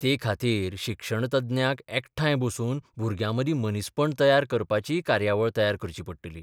ते खातीर शिक्षणतज्ञांक एकठांय बसून भुरग्यांमदीं मनीसपण तयार करपाचीय कार्यावळ तयार करची पडटली.